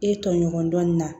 E tɔɲɔgɔn dɔɔnin na